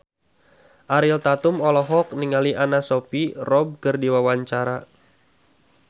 Ariel Tatum olohok ningali Anna Sophia Robb keur diwawancara